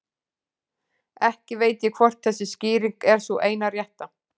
Ekki veit ég hvort þessi skýring er sú eina rétta.